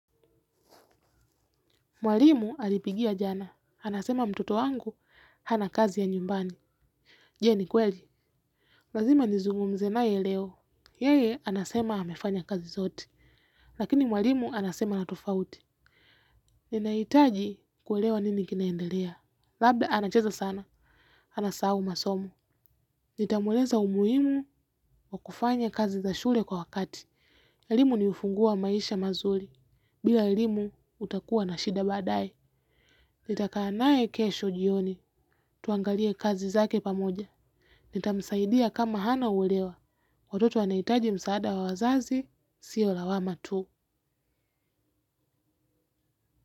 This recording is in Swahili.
Mwalimu alipigia jana, anasema mtoto wangu, hana kazi ya nyumbani, je, ni kweli? Lazima nizungumze naye leo, yeye anasema amefanya kazi zote, lakini mwalimu anasema na tofauti. Ninahitaji kuelewa nini kinaendelea, labda anacheza sana, anasahau masomo. Nitamweleza umuhimu wa kufanya kazi za shule kwa wakati. Elimu ni ufunguo maisha mazuri, bila elimu utakua na shida baadaye. Nitakaa naye kesho jioni, tuangalie kazi zake pamoja. Nitamsaidia kama hana uelewa, watoto wanaitaji msaada wa wazazi, siyo lawama tu.